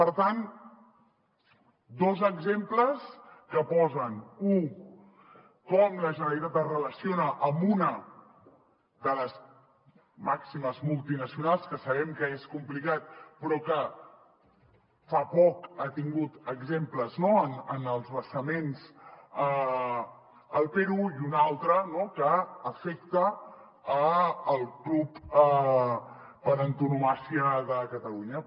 per tant dos exemples que posen u com la generalitat es relaciona amb una de les màximes multinacionals que sabem que és complicat però que fa poc ha tingut exemples no en els vessaments al perú i una altra no que afecta el club per antonomàsia de catalunya